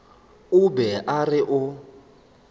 o be a re o